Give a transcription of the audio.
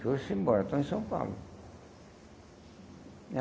Foram-se embora, estão em São Paulo.